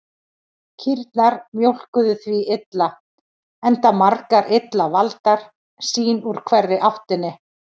Kýrnar mjólkuðu því illa, enda margar illa valdar, sín úr hverri áttinni.